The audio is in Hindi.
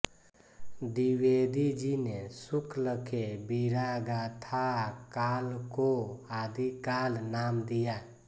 द्विवेदी जी ने शुक्ल के वीरगाथाकाल को आदिकाल नाम दिया